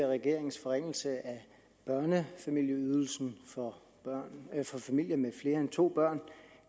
regerings forringelse af børnefamilieydelsen for familier med flere end to børn